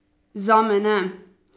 Zame ne!